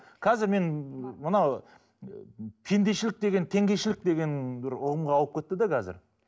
қазір мен мына пендешілік деген теңгешілік деген бір ұғымға ауып кетті де қазір